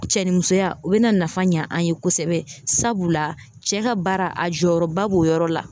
Cɛnimusoya o bɛna nafa ɲɛ an ye kosɛbɛ sabula cɛ ka baara a jɔyɔrɔba b'o yɔrɔ la